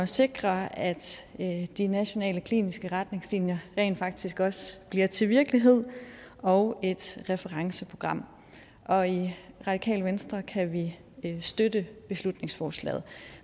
sikring af at at de nationale kliniske retningslinjer rent faktisk også bliver til virkelighed og et referenceprogram og i radikale venstre kan vi støtte beslutningsforslaget